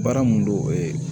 Baara mun don o ye